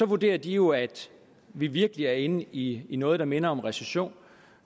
vurderer de jo at vi virkelig er inde i i noget der minder om recession